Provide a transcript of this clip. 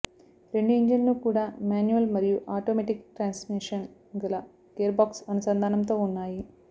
రెండు ఇంజన్లు కూడా మ్యాన్యువల్ మరియు ఆటోమేటిక్ ట్రాన్స్మిషన్ గల గేర్బాక్స్ అనుసంధానంతో ఉన్నాయి